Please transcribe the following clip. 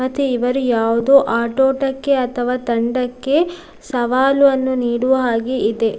ಮತ್ತೆ ಇವರು ಯಾವುದೋ ಆಟೋಟಕ್ಕೆ ಅಥವಾ ತಂಡಕ್ಕೆ ಸವಾಲು ಅನ್ನು ನೀಡುವ ಹಾಗೆ ಇದೆ.